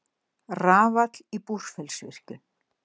Rafall í Búrfellsvirkjun.